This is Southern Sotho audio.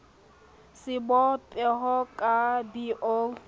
sebo peho ka b o